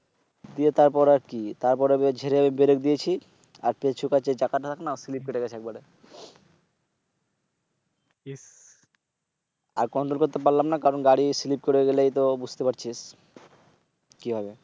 তারপর আর কি? আমি জেরে ব্রেরেক দিয়েছিল। আর সে তেল চরেছে চাকা না স্লিপ কেটে গেছে। আর Control করতে পাড়লামনা। কারণ গাড়ি স্লিপ করে গেলেইতো বুঝতে পাড়ছিস কি হবে?